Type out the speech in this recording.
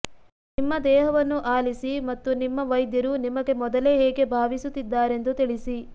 ನಿಮ್ಮ ದೇಹವನ್ನು ಆಲಿಸಿ ಮತ್ತು ನಿಮ್ಮ ವೈದ್ಯರು ನಿಮಗೆ ಮೊದಲೇ ಹೇಗೆ ಭಾವಿಸುತ್ತಿದ್ದಾರೆಂದು ತಿಳಿಸಿ